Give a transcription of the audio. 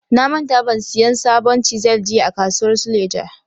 Na manta ban siyan sabon chisel jiya a kasuwar suleja.